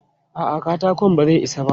A'a, katakon ba zai isa ba.